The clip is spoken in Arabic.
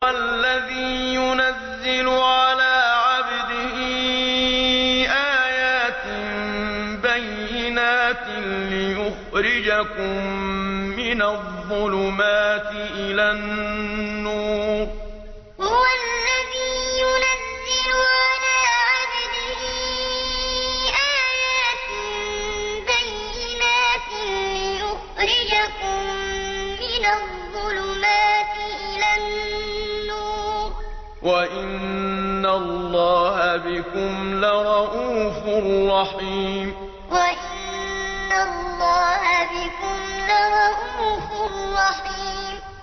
هُوَ الَّذِي يُنَزِّلُ عَلَىٰ عَبْدِهِ آيَاتٍ بَيِّنَاتٍ لِّيُخْرِجَكُم مِّنَ الظُّلُمَاتِ إِلَى النُّورِ ۚ وَإِنَّ اللَّهَ بِكُمْ لَرَءُوفٌ رَّحِيمٌ هُوَ الَّذِي يُنَزِّلُ عَلَىٰ عَبْدِهِ آيَاتٍ بَيِّنَاتٍ لِّيُخْرِجَكُم مِّنَ الظُّلُمَاتِ إِلَى النُّورِ ۚ وَإِنَّ اللَّهَ بِكُمْ لَرَءُوفٌ رَّحِيمٌ